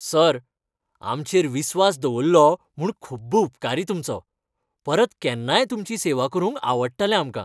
Sir, आमचेर विस्वास दवरलो म्हूण खुब्ब उपकारी तुमचो. परत केन्नाय तुमची सेवा करूंक आवडटलें आमकां.